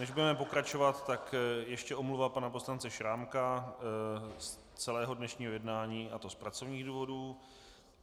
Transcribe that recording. Než budeme pokračovat, tak ještě omluva pana poslance Šrámka z celého dnešního jednání, a to z pracovních důvodů.